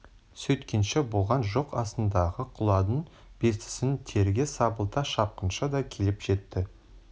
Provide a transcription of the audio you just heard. сөйткенше болған жоқ астындағы құладын бестісін терге сабылта шапқыншы да келіп жетті